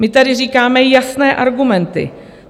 My tady říkáme jasné argumenty.